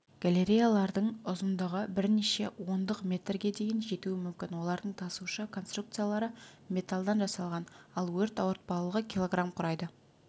галереялардың ұзындығы бірнеше ондық метрге дейін жетуі мүмкін олардың тасушы конструкциялары металлдан жасалған ал өрт ауыртпалығы килограмм құрайды